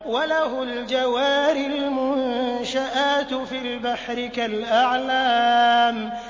وَلَهُ الْجَوَارِ الْمُنشَآتُ فِي الْبَحْرِ كَالْأَعْلَامِ